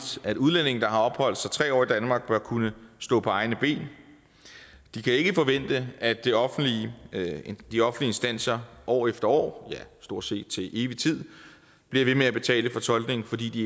at udlændinge der har opholdt sig tre år i danmark bør kunne stå på egne ben de kan ikke forvente at de offentlige instanser år efter år ja stort set til evig tid bliver ved med at betale for tolkning fordi